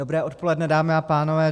Dobré odpoledne, dámy a pánové.